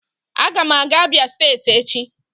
Aga m aga Abia steeti echi